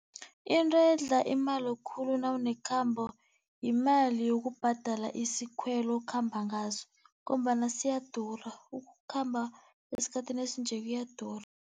Into edla imali khulu nawunekhamba yimali yokubhadala isikhweli okhamba ngaso ngombana siyadura, ukukhamba esikhathini esinje kuyadura.